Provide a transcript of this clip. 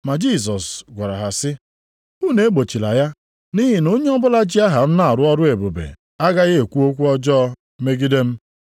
Ma Jisọs gwara ha sị, “Unu egbochila ya, nʼihi na onye ọbụla ji aha m na-arụ ọrụ ebube agaghị ekwu okwu ọjọọ megide m.